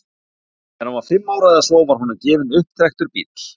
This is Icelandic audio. þegar hann var fimm ára eða svo var honum gefinn upptrekktur bíll